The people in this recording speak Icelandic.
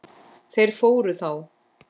Þeir fóru þá.